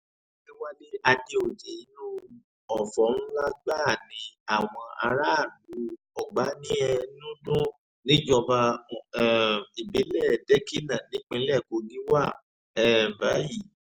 àdẹ̀wálé àdèoyè inú ọ̀fọ̀ ńlá gbáà ni àwọn aráàlú ogbaniénúdú níjọba um ìbílẹ̀ dèkínà nípínlẹ̀ kogi wà um báyìí